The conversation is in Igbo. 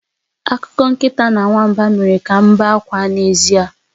Akụkọ nkịta na nwamba mere ka m bee akwa n'ezie